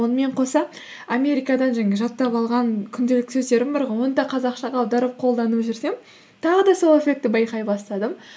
онымен қоса америкадан жаңағы жаттап алған күнделікті сөздерім бар ғой оны да қазақшаға аударып қолданып жүрсем тағы да сол эффектті байқай бастадым